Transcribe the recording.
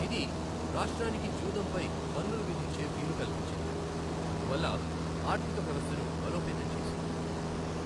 ఇది రాష్ట్రానికి జూదంపై పన్నులు విధించే వీలు కల్పించింది, అందువల్ల ఆర్థిక వ్యవస్థను బలోపేతం చేసింది.